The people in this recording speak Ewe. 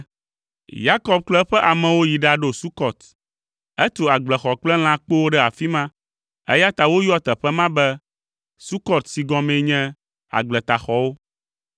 Yakob kple eƒe amewo yi ɖaɖo Sukɔt. Etu agbletaxɔ kple lãkpowo ɖe afi ma, eya ta woyɔa teƒe ma be Sukot si gɔmee nye “Agbletaxɔwo.”